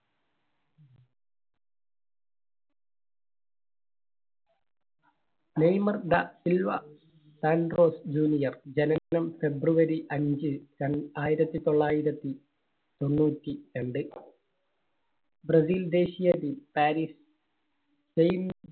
Neymar da Silva Santos Junior ജനനം february അഞ്ച് ര ആയിരത്തി തൊള്ളായിരത്തി തൊണ്ണൂറ്റി രണ്ട്‌. ബ്രസീൽ ദേശീയ team, പാരീസ്